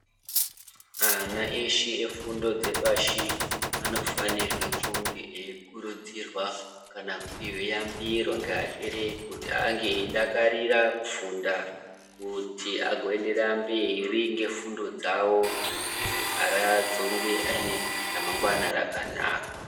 Ana eshe efundo dzepashi anofanirwe kunge eikurudzirwa kana kupihwe yambiro ngeabereki kuti ange eidakarira kufunda kuti agoenderera mberi ngefundo dzawo kuti azonge ane ramangwana rakanaka.